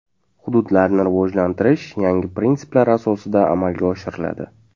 Hududlarni rivojlantirish yangi prinsiplar asosida amalga oshiriladi.